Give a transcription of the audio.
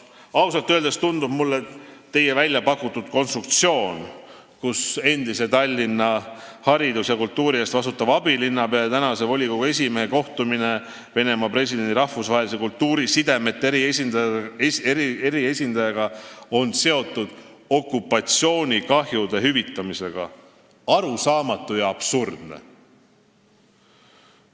" Ausalt öeldes tundub mulle teie pakutud konstruktsioon, nagu Tallinna hariduse ja kultuuri eest vastutava endise abilinnapea ja tänase volikogu esimehe kohtumine Venemaa presidendi rahvusvaheliste kultuurisidemete eriesindajaga oleks seotud okupatsioonikahjude hüvitamisega, arusaamatu ja absurdne.